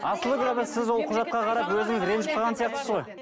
асыл сіз ол құжатқа қарап өзіңіз ренжіп қалған сияқтысыз ғой